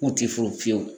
Kun ti furu fiyewu